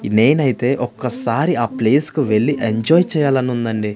నేనైతే ఒక్కసారి ఆ ప్లేస్ కు వెళ్లి ఎంజాయ్ చేయాలని ఉందండి.